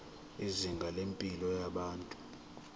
izinga lempilo yabantu